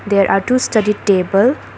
There are two study table.